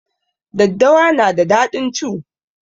Daddawa na da daɗin cu